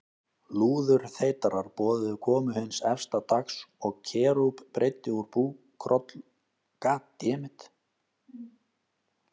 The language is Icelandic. Lúðurþeytarar boðuðu komu hins efsta dags og Kerúb breiddi úr bókrollu, helgri reiði Guðs.